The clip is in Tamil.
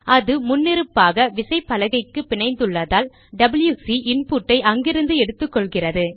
அது முன்னிருப்பாக விசைப்பலகைக்கு பிணைந்துள்ளதால் டபில்யுசி இன்புட்டை அங்கிருந்து எடுத்துக்கொள்கிறது